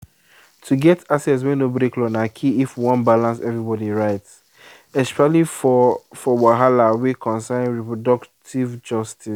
to get access wey no break law na key if we wan balance everybody rights especially for for wahala wey concern reproductive justice.